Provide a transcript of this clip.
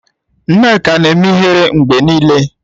Nneka na-eme ihere mgbe niile.